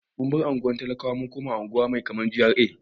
Mun bar unguwar talakawa mun koma wani waje mai kama da GRA.